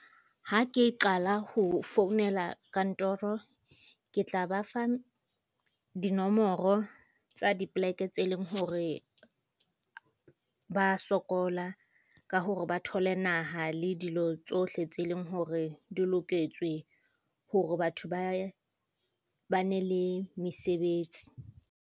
Ha ke qala ho founela kantoro, ke tla ba fa dinomoro tsa dipoleke tse leng hore ba sokola ka hore ba thole naha le dilo tsohle tse leng hore di loketswe hore batho ba ba ne le mesebetsi.